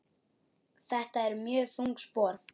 Þetta eru mjög þung spor.